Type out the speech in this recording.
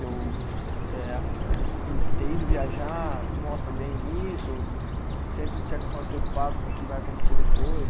Eu eh arru, eh ter ido viajar mostra bem isso, sempre de certa forma preocupado com o que vai acontecer depois.